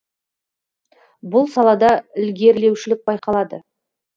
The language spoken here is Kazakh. бұл салада ілгерілеушілік байқалады